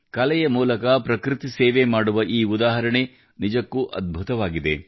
ಕಲೆಯ ಮೂಲಕ ಪ್ರಕೃತಿ ಸೇವೆ ಮಾಡುವ ಈ ಉದಾಹರಣೆ ನಿಜಕ್ಕೂ ಅದ್ಭುತವಾಗಿದೆ